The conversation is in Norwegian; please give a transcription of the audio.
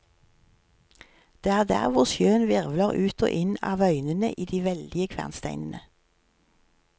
Det er der hvor sjøen hvirvler ut og inn av øynene i de veldige kvernsteinene.